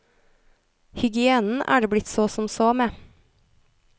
Hygienen er det blitt så som så med.